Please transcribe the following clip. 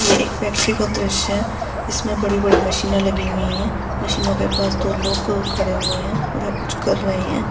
यह एक फैक्ट्री का दृश्य हैं। जिसमें बड़ी-बड़ी मशीने लगी हुई हैं। मशीनों के पास दो लोग खड़े हुए हैं। वह कुछ कर रहे हैं।